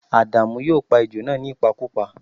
À̀dàmú yóò pa ejò náà nípakúpa